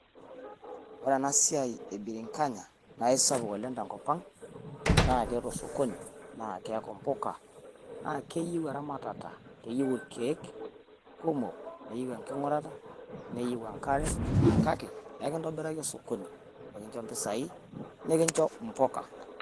Ore ena siai e birinkanya, naa isapuk oleng te nkop ang naa keeta osokoni naa keaku mpuka naa keyieu eramatata, Keyieu ilkiek kumok, neyieu enking`urata, neyieu enkare, kake ekitombiraki osokoni nikincho mpisai nikincho mpukaa.